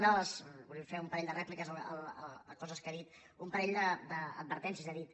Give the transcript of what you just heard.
vull fer un parell de rèpliques a coses que ha dit un parell d’advertències que ha dit